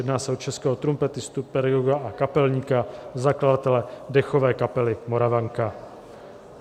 Jedná se o českého trumpetistu, pedagoga a kapelníka, zakladatele dechové kapely Moravanka.